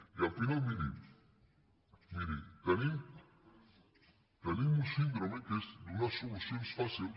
i al final miri tenim una síndrome que és donar solucions fàcils